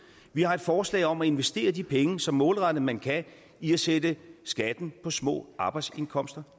vi har et forslag om at investere de penge så målrettet man kan i at sætte skatten på små arbejdsindkomster